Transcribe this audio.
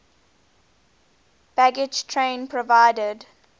baggage train provided